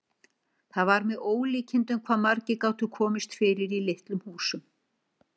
Það var með ólíkindum hvað margir gátu komist fyrir í litlum húsum.